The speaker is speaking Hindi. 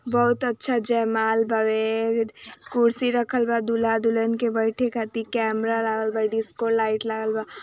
बहुत अच्छा जयमाल बावे कुर्सी रखल बा दूल्हा दुल्हन के बैठे खातिर कैमरा लगल बा डिस्को लाईट लगल बा।